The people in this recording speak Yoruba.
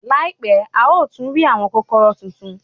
Láìpẹ́, a ó tún rí àwọn kọ́kọ́rọ́ tuntun.